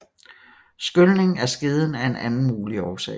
Skylning af skeden er en anden mulig årsag